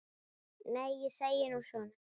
Nei, ég segi nú svona.